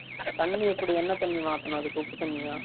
தன்னி எப்டி என்ன தன்னி மாதனும் அதுக்கு உப்பு தன்னியா